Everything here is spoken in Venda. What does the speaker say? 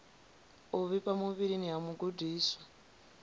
u vhifha muvhilini ha mugudiswa